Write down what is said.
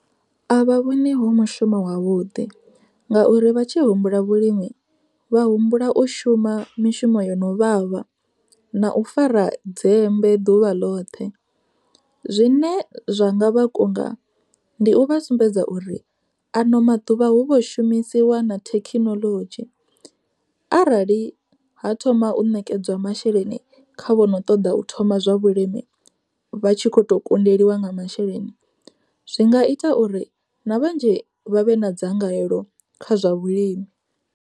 A vha vhoni ho mushumo wavhuḓi, ngauri vha tshi humbula vhulimi vha humbula u shuma mishumo yo no vhavha na u fara dzembe ḓuvha ḽoṱhe. Zwine zwa nga vha kunga, ndi u vha sumbedza uri ano maḓuvha hu vho shumisiwa na thekhinoḽodzhi, arali ha thoma u nekedzwa masheleni kha vhono ṱoḓa u thoma zwa vhulimi vha tshi kho to kundeliwa nga masheleni, zwi nga ita uri na vhanzhi vha vhe na dzangalelo kha zwa vhulimi.